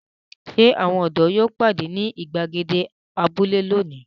Ṣé àwọn ọ̀dọ́ yóò pàdé ní ìgbàgede abúlé lónìí?